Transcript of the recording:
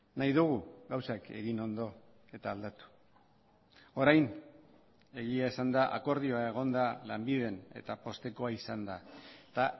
nahi dugu gauzak egin ondo eta aldatu orain egia esanda akordioa egon da lanbiden eta poztekoa izan da eta